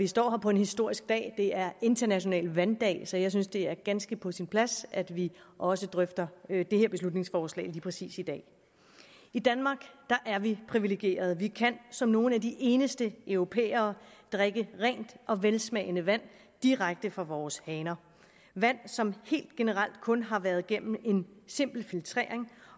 står her på en historisk dag det er international vanddag så jeg synes det er ganske på sin plads at vi også drøfter det her beslutningsforslag lige præcis i dag i danmark er vi privilegerede vi kan som nogle af de eneste europæere drikke rent og velsmagende vand direkte fra vores haner vand som helt generelt kun har været gennem en simpel filtrering